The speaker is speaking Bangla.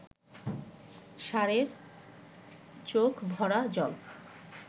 ষাঁড়ের চোখ ভরা জল